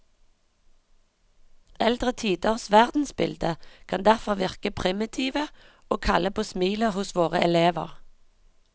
Eldre tiders verdensbilde kan derfor virke primitive og kalle på smilet hos våre elever.